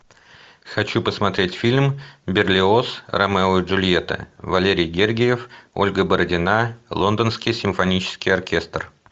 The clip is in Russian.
хочу посмотреть фильм берлиоз ромео и джульетта валерий гергиев ольга бородина лондонский симфонический оркестр